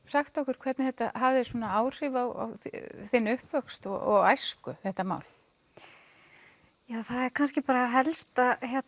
sagt okkur hvernig þetta hafði áhrif á þinn uppvöxt og æsku þetta mál já það er kannski bara helst